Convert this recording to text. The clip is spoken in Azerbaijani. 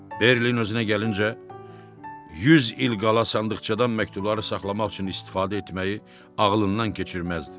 Berli özünə gəlincə, 100 il qala sandıqçadan məktubları saxlamaq üçün istifadə etməyi ağlından keçirməzdi.